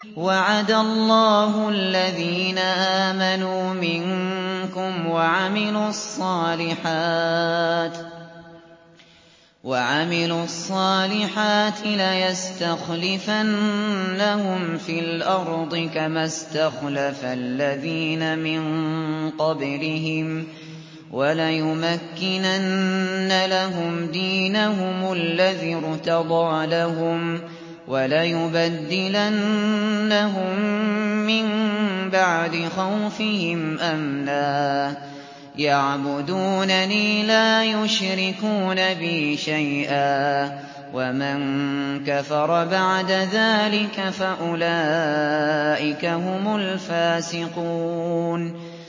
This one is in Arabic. وَعَدَ اللَّهُ الَّذِينَ آمَنُوا مِنكُمْ وَعَمِلُوا الصَّالِحَاتِ لَيَسْتَخْلِفَنَّهُمْ فِي الْأَرْضِ كَمَا اسْتَخْلَفَ الَّذِينَ مِن قَبْلِهِمْ وَلَيُمَكِّنَنَّ لَهُمْ دِينَهُمُ الَّذِي ارْتَضَىٰ لَهُمْ وَلَيُبَدِّلَنَّهُم مِّن بَعْدِ خَوْفِهِمْ أَمْنًا ۚ يَعْبُدُونَنِي لَا يُشْرِكُونَ بِي شَيْئًا ۚ وَمَن كَفَرَ بَعْدَ ذَٰلِكَ فَأُولَٰئِكَ هُمُ الْفَاسِقُونَ